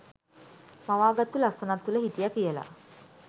මවාගත්තු ලස්සනක් තුළ හිටිය කියල